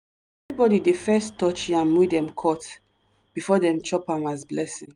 everybody dey touch first yam wey dem cut before dem chop am as blessing.